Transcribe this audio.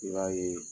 I b'a ye